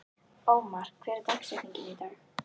Ómar, hver er dagsetningin í dag?